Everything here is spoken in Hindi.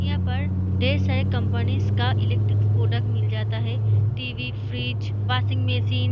यहाँ पर ढ़ेर सारी कंपनीज का इलेक्ट्रिक प्रोडक्ट्स मिल जाता है टी.वी. Fridge washing machine.